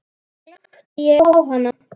Glápti ég á hana?